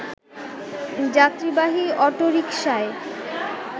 যাত্রীবাহী অটোরিকশায়